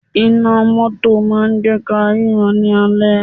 Iná mótò máà ń jẹ́ kí á ríran ní alẹ́.